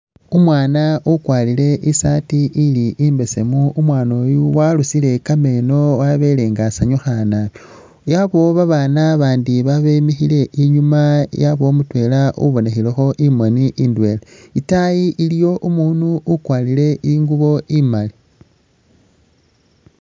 Umwaana ukwarile isati ili imbesemu, umwaana uyu warusile kameno wabelenga asanyukha naabi, yabawo babana bandi babemikhile inyuma yabawo mutwela ubinekhilekho imoni indwela, itaayi iliyo umundu ukwarile ingubo imaali